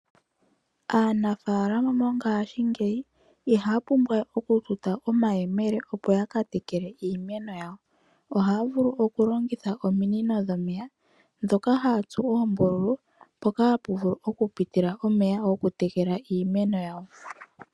Aanafaalama mongashingeyi ihaya pumbwa we oku tuta omayemele opo ya ka tekele iimeno yawo. Ohaya longitha ominino dhomeya ndhoka ha ya tsu oombululu mpoka ha pu piti omeya goku tekela iimeno yawo.